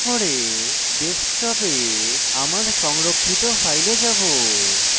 desktop এ আমার সংরক্ষিত files যাবো